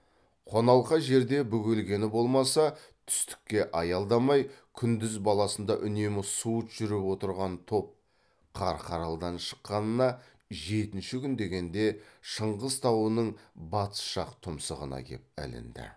қоналқа жерде бөгелгені болмаса түстікке аялдамай күндіз баласында үнемі суыт жүріп отырған топ қарқаралыдан шыққанына жетінші күн дегенде шыңғыс тауының батыс жақ тұмсығына кеп ілінді